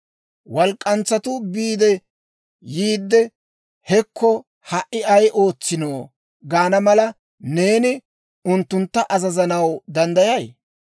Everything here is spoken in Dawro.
Walk'k'antsatuu biide yiide, ‹Hekko, ha"i ay ootsiino› gaana mala, neeni unttuntta azazanaw danddayay?